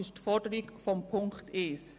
Dies entspricht der Forderung der Ziffer 1.